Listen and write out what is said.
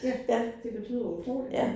Ja, det betyder utrolig